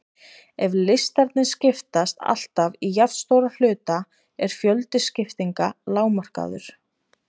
Ef listarnir skiptast alltaf í jafnstóra hluta er fjöldi skiptinga lágmarkaður.